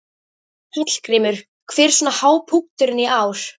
Hallgrímur, hver er svona hápunkturinn í ár?